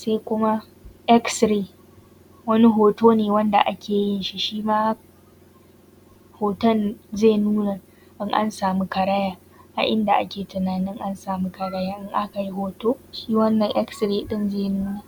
Sai kuma Xray, wani hoto ne wanda ake yin shi, hoton zai nuna in an samu karaya a inda ake tunanin an samu karayan. In aka yi hoto shi wannan Xray ɗin zai nuna.